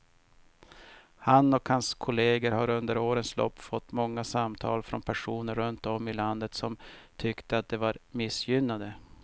Han och hans kolleger har under årens lopp fått många samtal från personer runt om i landet som tyckte att de var missgynnade.